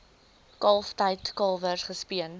kalftyd kalwers gespeen